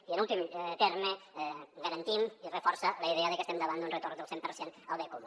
i en últim terme garantim i reforça la idea de que estem davant d’un retorn del cent per cent al bé comú